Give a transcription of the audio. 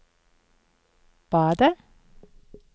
badet